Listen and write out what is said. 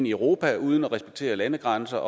europa uden at respektere landegrænser